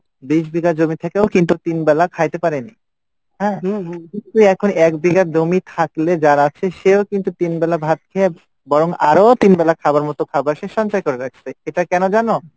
বিশ বিঘা জমি থেকেও কিন্তু তিনবেলা খাইতে পারেনি হ্যাঁ? কিন্তু এখন এক বিঘা জমি থাকলে যার আছে সেও কিন্তু তিন বেলা ভাত খেয়ে বরং আরও তিন বেলা খাওয়ার মতো খাওয়ার সে সঞ্চয় করে রেখেছে এটা কেন জানো?